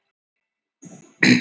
Orð ekki í tíma töluð